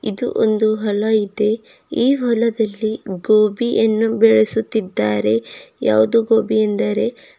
ಇದು ಒಂದು ಹೊಲ ಇದೆ ಈ ಹೊಲದಲ್ಲಿ ಗೋಬಿಯನ್ನು ಬೆಳಸುತ್ತಿದ್ದಾರೆ ಯಾವ್ದು ಗೋಬಿ ಎಂದರೆ --